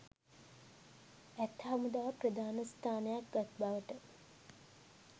ඇත් හමුදාව ප්‍රධාන ස්ථානයක් ගත් බවට